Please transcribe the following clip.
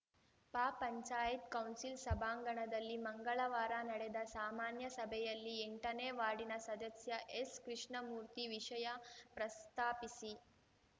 ಪಪಂಚಾಯತ್ council ಸಭಾಂಗಣದಲ್ಲಿ ಮಂಗಳವಾರ ನಡೆದ ಸಾಮಾನ್ಯ ಸಭೆಯಲ್ಲಿ ಎಂಟನೇ ವಾರ್ಡಿನ ಸದಸ್ಯ ಎಸ್‌ಕೃಷ್ಣಮೂರ್ತಿ ವಿಷಯ ಪ್ರಸ್ತಾಪಿಸಿ